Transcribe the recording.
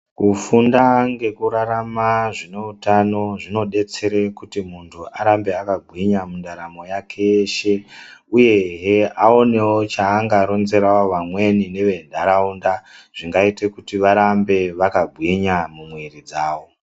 Kufunda ngekurarama zvineutano zvinodetsere kuti muntu arambe akagwinya mundaramo yake yeshe uye he aone changaronzerawo vamweni nevendaraunda zvingaita kutivarambe vakagwinya mumwiri dzawo